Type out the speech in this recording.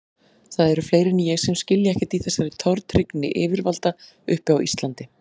Það eru fleiri en ég sem skilja ekkert í þessari tortryggni yfirvalda uppi á Íslandi.